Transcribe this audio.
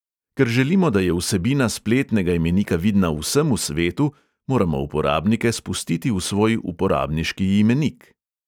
Ker želimo, da je vsebina spletnega imenika vidna vsemu svetu, moramo uporabnike spustiti v svoj uporabniški imenik.